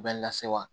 Bɛɛ lase wa